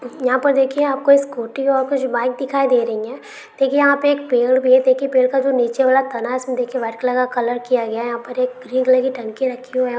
यहां पर देखिए आपको स्कूटी और कुछ बाइक दिखाई दे रही हैं देखिए यहां पर एक पेड़ भी है देखिये पेड़ का जो नीचे वाला तना है उसमें व्हाइट कलर का कलर किया गया है यहां पर एक ग्रीन कलर की टंकी रखी हुई है।